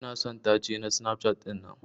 Ina son tace na Snapchat dinnan.